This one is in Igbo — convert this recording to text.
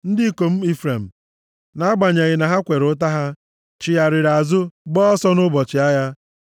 Ndị ikom Ifrem, nʼagbanyeghị na ha kwere ụta ha, chigharịrị azụ, gbaa ọsọ nʼụbọchị agha.